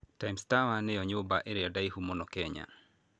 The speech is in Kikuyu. Times Tower nĩyo nyũmba ĩrĩa ndaihu mũno Kenya.